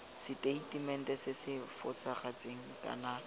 seteitemente se se fosagetseng kana